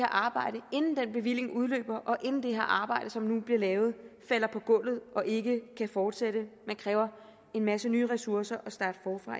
arbejde inden den bevilling udløber og inden det her arbejde som nu bliver lavet falder på gulvet og ikke kan fortsætte men kræver en masse nye ressourcer